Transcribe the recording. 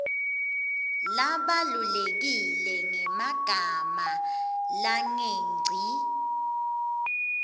labalulekile ngemagama langengci